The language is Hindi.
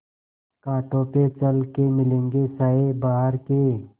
कांटों पे चल के मिलेंगे साये बहार के